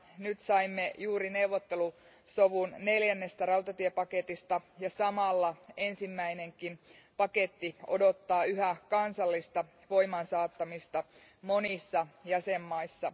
Nyt saimme juuri neuvottelusovun neljännestä rautatiepaketista ja samaan aikaan ensimmäinenkin paketti odottaa yhä kansallista voimaansaattamista monissa jäsenvaltioissa.